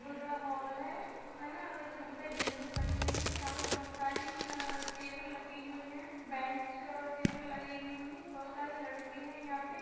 बहोत बड़ा हॉल है। उसमे ना ऐसे बहोत सारी विंडोज़ बनी हुई हैं। यहाँ पे बहोत सारी टेबल रखी हुई हैं। बेंच अ टेबल लगी हुई हैं। बहोत सारे लड़के हैं यहाँ पे।